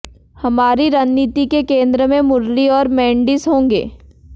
हमारी रणनीति के केंद्र में मुरली और मेंडिस होंगे